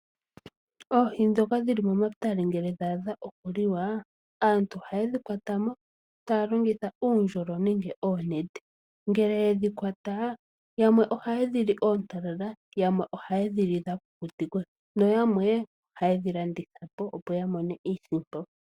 Oohi dhoka dhili omatale ngele dha adha oku liwa. Aantu oha yedhi kwatamo taya longitha uundjolo nenge oonete, ngele yedhi kwata yamwe oha yedhili ontalala, yamwe oha yedhili dha kukutikwa na yamwe oha yedhi landithapo.